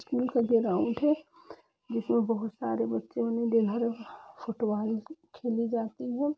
School का ground है जिसमें बहुत सारे बच्चों ने फुटबॉल खेली जाती है।